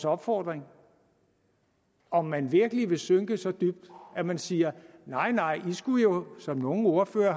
opfordring om man virkelig vil synke så dybt at man siger nej i skulle jo som nogle ordførere